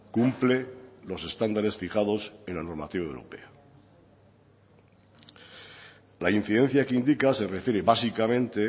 cumple los estándares fijados en la normativa europea la incidencia que indica se refiere básicamente